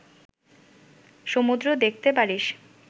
সমুদ্র দেখতে পারিস